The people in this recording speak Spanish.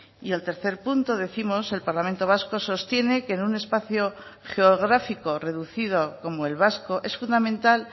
y el tercer punto décimos el parlamento vasco sostiene que en un espacio geográfico reducido como el vasco es fundamental